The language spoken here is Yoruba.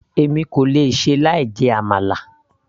èmi kò lè ṣe láì jẹ àmàlà